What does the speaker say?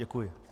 Děkuji.